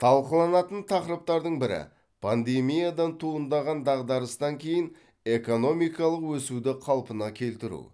талқыланатын тақырыптардың бірі пандемиядан туындаған дағдарыстан кейін экономикалық өсуді қалпына келтіру